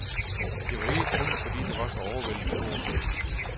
Det var ikke kun fordi det var så overvældende stort.